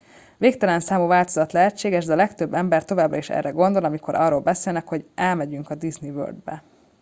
"végtelen számú változat lehetséges de a legtöbb ember továbbra is erre gondol amikor arról beszélnek hogy "elmegyünk a disney world-be"".